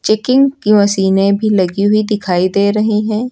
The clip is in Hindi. चेकिंग की मशीने भी लगी हुई दिखाई दे रही है।